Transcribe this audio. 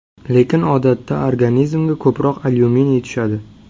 Lekin odatda organizmga ko‘proq alyuminiy tushadi.